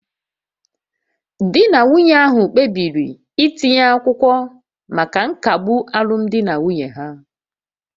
Di na nwunye ahụ kpebiri itinye akwụkwọ maka nkagbu alụmdi na nwunye ha